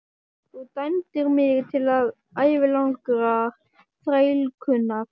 Þú dæmdir mig til ævilangrar þrælkunar!